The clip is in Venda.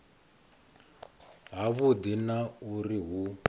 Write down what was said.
ha vhudi na uri hu